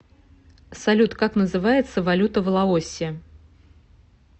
салют как называется валюта в лаосе